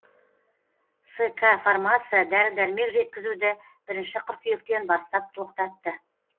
ск фармация дәрі дәрмек жеткізуді бірінші қыркүйектен бастап тоқтатты